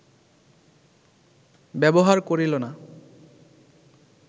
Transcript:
ব্যবহার করিল না